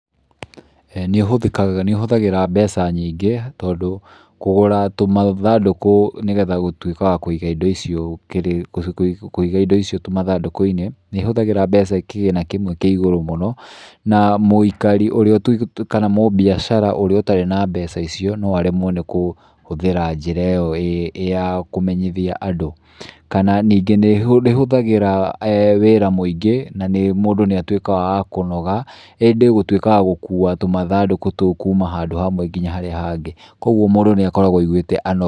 Nĩ ũhũthĩkaga, nĩ ũhũthagĩra mbeca nyingĩ tondũ kũgũra tũmathandũkũ nĩ getha gũtuĩka wa kũiga indo icio, kũiga indo icio tũmathandũkũ-inĩ nĩ ihũthagĩra mbeca kĩgĩna kĩmwe kĩ igũru mũno, na mũikari kana mũmbiacara ũrĩa ũtarĩ na mbeca icio no aremwo nĩ kũhũthĩra njĩra iyo ya kũmenyithia andũ. Kana ningĩ nĩ ĩhũthagĩra wĩra mũingĩ na nĩ mũndũ nĩ atuĩkaga wa kũnoga, ĩndĩ gũtuĩka wa gũka tũmthandũkũ tũu kuma handũ hamwe nginya harĩa hangĩ, koguo mũndũ nĩ akoragwo aiguĩte anogete.